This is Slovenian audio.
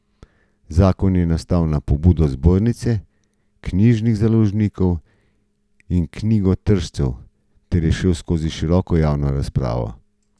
Zakon je nastal na pobudo Zbornice knjižnih založnikov in knjigotržcev ter je šel skozi široko javno razpravo.